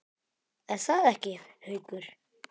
Er það ekki, Haukur?